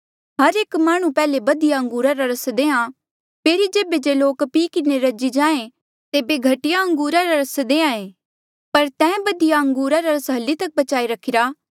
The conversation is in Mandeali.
हर एक माह्णुं पैहले बधिया अंगूरा रा रस देहां फेरी जेबे जे लोक पी किन्हें रजी जाहें तेबे घटिया अंगूरा रा रस देहां ऐें पर तैं बधिया अंगूरा रा रस हली तक बचाई रखिरा